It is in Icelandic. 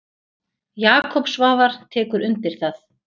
Jakob Svavar tekur undir það.